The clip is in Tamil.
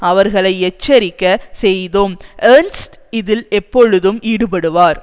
அவர்களை எச்சரிக்கை செய்தோம் ஏர்ன்ஸ்ட் இதில் எப்பொழுதும் ஈடுபடுவார்